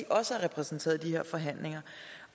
også er repræsenteret i de her forhandlinger